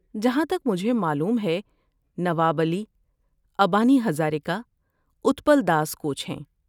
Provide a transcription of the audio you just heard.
جہاں تک مجھے معلوم ہے، نواب علی، ابانی ہزاریکا، اتپال داس کوچ ہیں۔